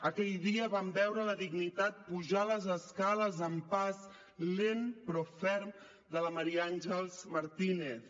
aquell dia vam veure la dignitat pujar les escales amb pas lent però ferm de la maria àngels martínez